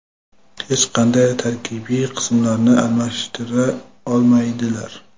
hech qanday tarkibiy qismlarini almashtira olmaydilar.